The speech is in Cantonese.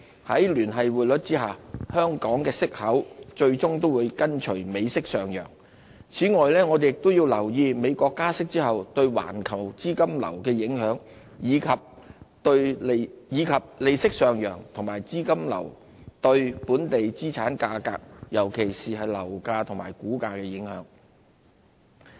在聯繫匯率下，香港息口最終會跟隨美息上升，此外，我們亦要留意美國加息後對環球資金流的影響，以及利息上揚和資金流對本地資產價格，尤其是樓價和股價的影響。